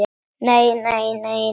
Nei, nei, nei, nei.